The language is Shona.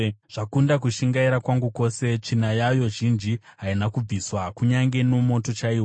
Zvakunda kushingaira kwangu kwose; tsvina yayo zhinji haina kubviswa, kunyange nomoto chaiwo.